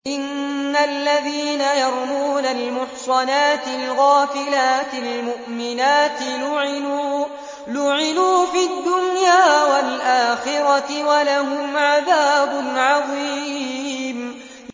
إِنَّ الَّذِينَ يَرْمُونَ الْمُحْصَنَاتِ الْغَافِلَاتِ الْمُؤْمِنَاتِ لُعِنُوا فِي الدُّنْيَا وَالْآخِرَةِ وَلَهُمْ عَذَابٌ عَظِيمٌ